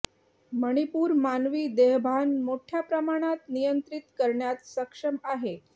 मणिपूर मानवी देहभान मोठ्या प्रमाणात नियंत्रित करण्यात सक्षम आहे